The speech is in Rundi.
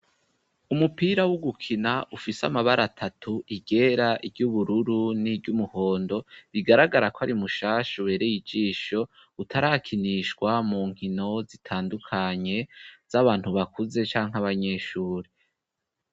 Umupira wo gukina, ufise amabara atatu: iryera, iry'ubururu, n'iry'umuhondo, bigaragara ko ari mushasha, ubereye ijisho, utarakinishwa mu nkino zitandukanye z'abantu bakuze canke abanyeshuri.